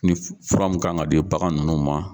Ni fura min kan ka di bagan ninnu ma.